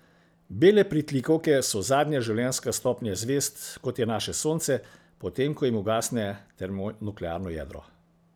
Bele pritlikavke so zadnja življenjska stopnja zvezd, kot je naše Sonce, potem ko jim ugasne termonuklearno jedro.